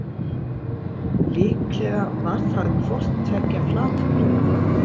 Líklega var það hvort tveggja flatbrauð.